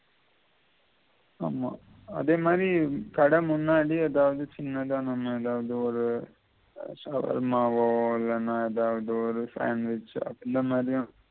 ஆமா அதே மாதிரி கட முன்னாடி சின்னதா நம்ம எதாவது ஒரு சவர்மாவோ இல்லேனா எதாவது ஒரு sandwich அப்படி இந்த மாதிரி